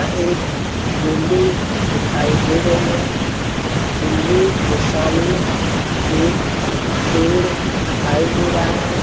यहाँ एक बिल्डिंग दिखाई दे रही है। बिल्डिंग के सामने एक पेड़ दिखाई दे रहा है |